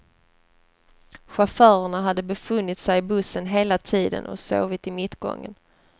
Chaufförerna hade befunnit sig i bussen hela tiden och sovit i mittgången.